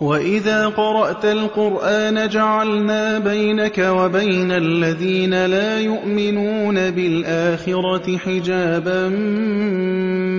وَإِذَا قَرَأْتَ الْقُرْآنَ جَعَلْنَا بَيْنَكَ وَبَيْنَ الَّذِينَ لَا يُؤْمِنُونَ بِالْآخِرَةِ حِجَابًا